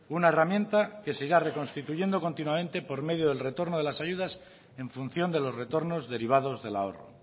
una herramienta que se irá reconstituyendo continuamente por medio del retorno de las ayudas en función de los retornos derivados del ahorro